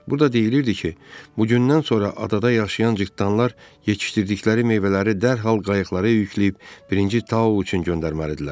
Burada deyilirdi ki, bugündən sonra adada yaşayan cırtdanlar yetişdirdikləri meyvələri dərhal qayıqlara yükləyib birinci tao üçün göndərməlidirlər.